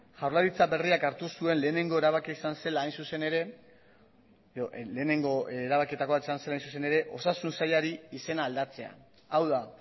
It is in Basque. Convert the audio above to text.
jaurlaritza berriak hartu zuen lehenengo erabakietakoa izan zela hain zuzen ere osasun sailari izena aldatzea hau da